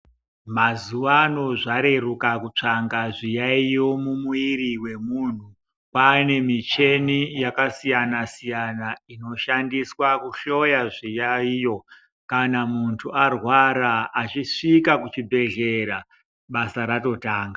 Mazuwa ano zvareruka kutsvanga zviyayo mumwiri mwemunthu. Kwaane michini yakasiyana-siyana inoshandiswa kuhloya zviyayo kana muntu arwara, achisvika kuchibhedhlera basa ratotanga.